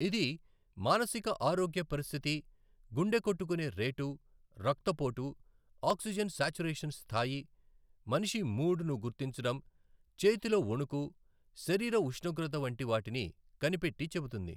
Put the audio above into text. ఇది మానసిక ఆరోగ్య పరిస్థితి, గుండె కొట్టుకునే రేటు, రక్తపోటు, ఆక్సిజన్ శాచురేషన్ స్థాయి, మనిషి మూడ్ ను గుర్తించడం, చేతిలో ఒణుకు, శరీర ఉష్ణోగ్రత వంటి వాటిని కనిపెట్టి చెబుతుంది.